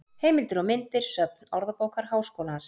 Heimildir og myndir: Söfn Orðabókar Háskólans.